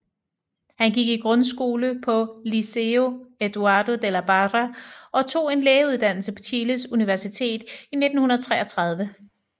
Han gik i grundskole på Liceo Eduardo de la Barra og tog en lægeuddannelse fra Chiles Universitet i 1933